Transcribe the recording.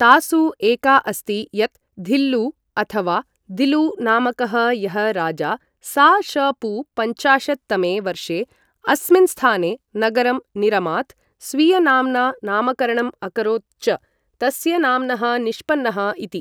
तासु एका अस्ति, यत् धिल्लु अथवा दिलु नामकः यः राजा सा.श.पू.पञ्चाशत् तमे वर्षे अस्मिन् स्थाने नगरं निरमात् स्वीयनाम्ना नामकरणम् अकरोत् च, तस्य नाम्नः निष्पन्नः इति।